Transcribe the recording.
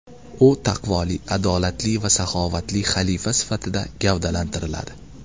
U taqvoli, adolatli va saxovatli xalifa sifatida gavdalantiriladi.